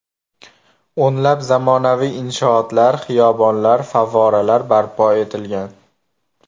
O‘nlab zamonaviy inshootlar, xiyobonlar, favvoralar barpo etilgan.